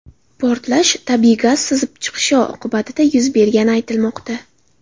Portlash tabiiy gaz sizib chiqishi oqibatida yuz bergani aytilmoqda.